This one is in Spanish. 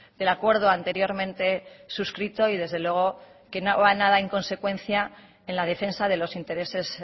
del acuerdo anteriormente suscrito y desde luego que no va nada en consecuencia en la defensa de los intereses